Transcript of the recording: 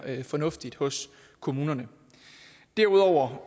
fornuftigt hos kommunerne derudover